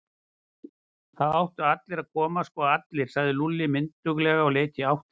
Það áttu allir að koma, sko allir, sagði Lúlli mynduglega og leit í áttina að